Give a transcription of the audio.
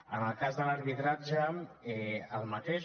en el cas de l’arbitratge el mateix